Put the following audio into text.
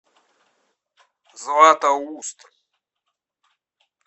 златоуст